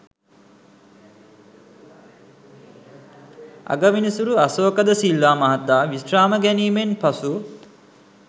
අගවිනිසුරු අශෝක ද සිල්වා මහතා විශ්‍රාම ගැනීමෙන් පසු